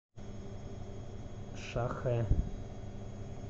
шахэ